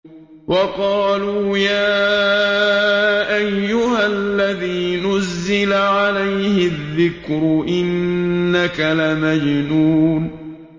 وَقَالُوا يَا أَيُّهَا الَّذِي نُزِّلَ عَلَيْهِ الذِّكْرُ إِنَّكَ لَمَجْنُونٌ